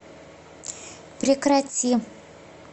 прекрати